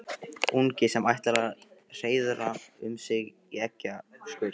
Ungi sem ætlar að hreiðra um sig í eggjaskurn.